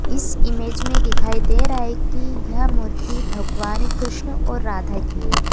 इस इमेज में दिखाई दे रहा है कि यह मूर्ति भगवान कृष्ण और राधा की है।